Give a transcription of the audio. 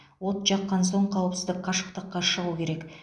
от жаққан соң қауіпсіз қашықтыққа шығу керек